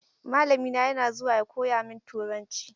Mallamina yana zuwa ya koya min turanci.